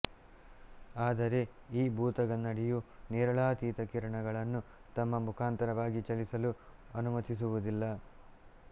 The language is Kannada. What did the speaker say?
ಆದರೆ ಈ ಭೂತಗನ್ನಡಿಯು ನೇರಳಾತೀತ ಕಿರಣಗಳನ್ನು ತಮ್ಮ ಮುಖಾಂತರವಾಗಿ ಚಲಿಸಲು ಅನುಮತಿಸುವುದಿಲ್ಲ